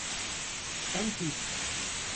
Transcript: En tip.